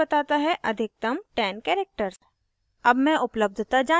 यह हमेशा बताता है अधिकतम 10 characters